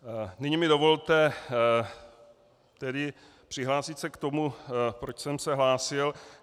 Nyní mi dovolte tedy přihlásit se k tomu, proč jsem se hlásil.